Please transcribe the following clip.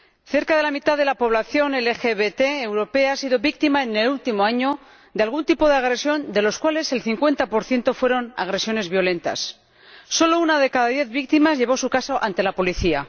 Cerca de la mitad de la población LGBT europea ha sido víctima, en el último año, de algún tipo de agresión, de las cuales el cincuenta por ciento fueron agresiones violentas. Solo una de cada diez víctimas llevó su caso ante la policía.